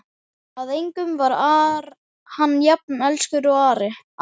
Að engum var hann jafn elskur og Ara.